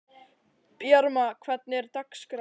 Bjarma, hvernig er dagskráin?